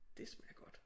Det smager godt